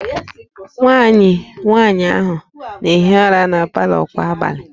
Nwanne nwaanyị ahụ na-ehi ụra na palọ kwa abalị